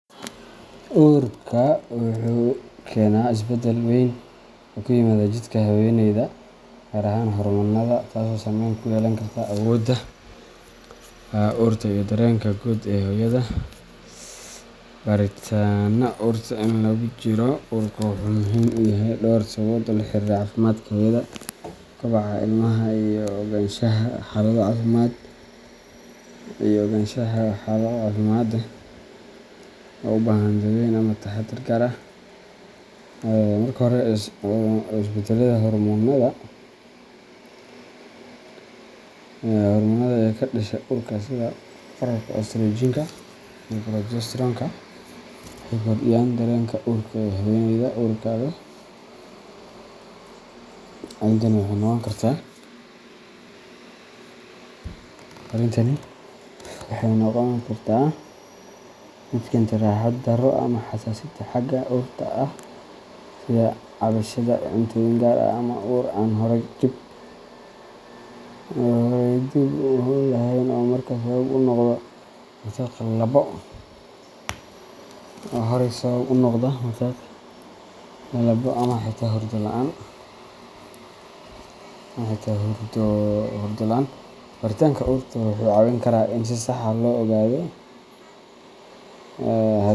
Uurka wuxuu keenaa isbedel weyn oo ku yimaada jidhka haweeneyda, gaar ahaan hormoonnada, taasoo saameyn ku yeelan karta awoodda urta iyo dareenka guud ee hooyada. Baaritaanka urta inta lagu jiro uurka wuxuu muhiim u yahay dhowr sababood oo la xiriira caafimaadka hooyada, koboca ilmaha, iyo ogaanshaha xaalado caafimaad oo u baahan daaweyn ama taxadar gaar ah. Marka hore, isbedellada hormoonnada ee ka dhasha uurka sida kororka estrogen-ka iyo progesterone-ka waxay kordhiyaan dareenka urta ee haweeneyda uurka leh. Arrintani waxay noqon kartaa mid keenta raaxo-darro ama xasaasiyad xagga urta ah, sida ka cabsashada cuntooyin gaar ah ama ur aan horay dhib u lahayn oo markaa sabab u noqda matag, lalabbo, ama xitaa hurdo la’aan. Baaritaanka urta wuxuu caawin karaa in si sax ah loo ogaado .